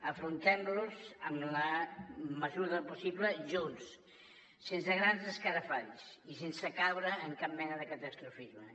afrontem los en la mesura del possible junts sense grans escarafalls i sense caure en cap mena de catastrofisme